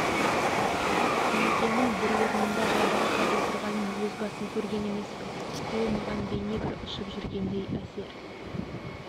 кемекеңнің бір орнында жайбарақат отырғанын өз басым көрген емеспін ол маған бейне бір ұшып жүргендей әсер